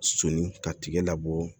Sonni ka tigɛ labɔ